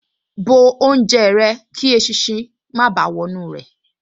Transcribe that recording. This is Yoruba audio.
Bó oúnjẹ rẹ kí eṣinṣin má báà wọ inú rẹ̀